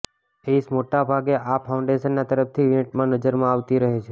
ઐશ મોટાભાગે આ ફાઉન્ડેશનના તરફથી ઇવેન્ટમાં નજરમાં આવતી રહે છે